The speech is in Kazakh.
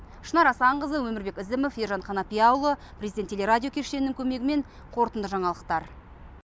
шынар асанқызы өмірбек ізімов ержан қанапияұлы президент телерадио кешенінің көмегімен қорытынды жаңалықтар